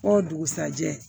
O dugusajɛ